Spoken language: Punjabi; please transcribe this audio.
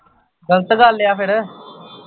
ਗਲਤ ਗੱਲ ਐ ਫਿਰ